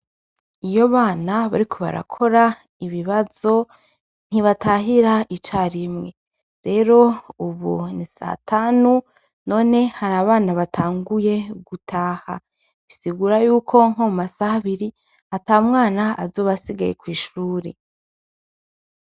Iyo abana bariko barakora ibibazo ntibatahira icarimwe rero ubu satanu none harabana batanguye gutaha bisigura yuko nko mumasaha abiri atamwana azoba asigaye kwishure